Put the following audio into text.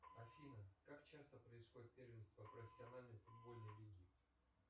афина как часто происходит первенство профессиональной футбольной лиги